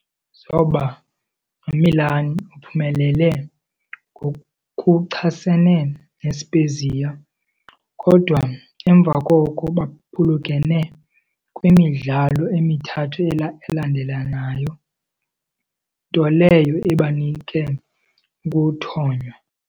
Zoba noMilan, uphumelele ngokuchasene neSpezia, kodwa emva koko baphulukene kwimidlalo emithathu elandelanayo nto leyo ebanike ukuthonywa.